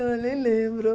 Eu falei, lembro.